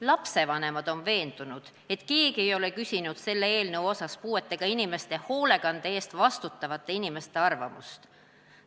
Lapsevanemad on veendunud, et keegi ei ole küsinud selle eelnõu osas puuetega inimeste hoolekande eest vastutavate inimeste arvamust.